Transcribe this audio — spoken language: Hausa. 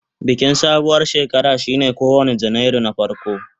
Bikin sabuwar shekara shine kowane Janairu na farko.